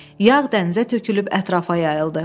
Yağ dənizə tökülüb ətrafa yayıldı.